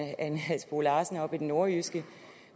ane halsboe larsen oppe i det nordjyske